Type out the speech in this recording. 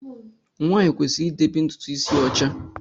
Nwanyi kwesịrị idebe ntụtụ isi ya ọcha.